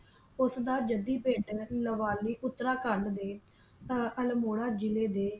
ਉਸ ਦਾ ਜੱਦੀ ਪਿੰਡ ਲਾਵਾਲੀ ਉਤਰਾਖੰਡ ਦੇ ਆਹ ਅਲਮੋੜਾ ਜਿਲੇ ਦੇ